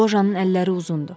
Lojanın əlləri uzundur.